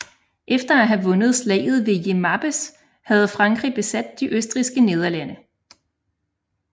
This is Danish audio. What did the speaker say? Efter at have vundet Slaget ved Jemappes havde Frankrig besat de Østrigske Nederlande